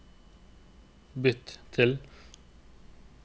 bytt til